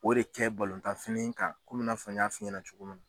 O de kɛ tan fini kan komi i n'a fɔ n y'a fɔ ɲɛna cogo min